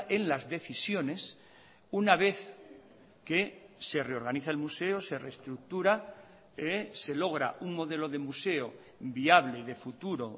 en las decisiones una vez que se reorganiza el museo se reestructura se logra un modelo de museo viable y de futuro